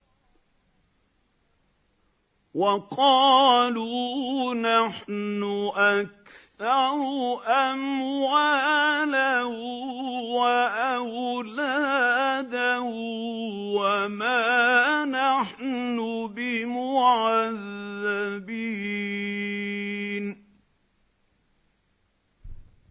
وَقَالُوا نَحْنُ أَكْثَرُ أَمْوَالًا وَأَوْلَادًا وَمَا نَحْنُ بِمُعَذَّبِينَ